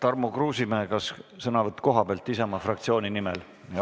Tarmo Kruusimäe, kas sõnavõtt kohalt Isamaa fraktsiooni nimel?